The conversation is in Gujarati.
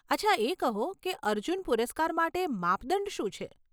અચ્છા એ કહો કે, અર્જુન પુરસ્કાર માટે માપદંડ શું છે?